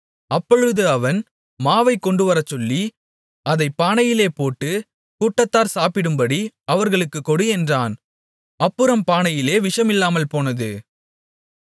அப்பொழுது அவன் மாவைக் கொண்டுவரச்சொல்லி அதைப் பானையிலே போட்டு கூட்டத்தார் சாப்பிடும்படி அவர்களுக்கு கொடு என்றான் அப்புறம் பானையிலே விஷம் இல்லாமல்போனது